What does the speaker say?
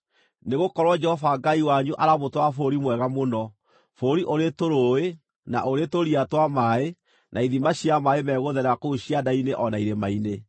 Nĩgũkorwo Jehova Ngai wanyu aramũtwara bũrũri mwega mũno, bũrũri ũrĩ tũrũũĩ, na ũrĩ tũria twa maaĩ, na ithima cia maaĩ megũtherera kũu cianda-inĩ o na irĩma-inĩ;